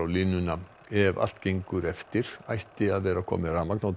línuna ef allt gengur eftir ætti að vera komið rafmagn á